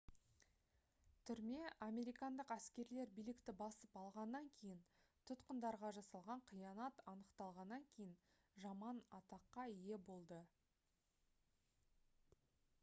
түрме американдық әскерлер билікті басып алғаннан кейін тұтқындарға жасалған қиянат анықталғаннан кейін жаман атаққа ие болды